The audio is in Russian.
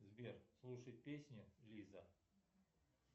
сбер слушать песню лиза